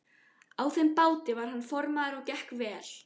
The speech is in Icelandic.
Á þeim báti var hann formaður og gekk vel.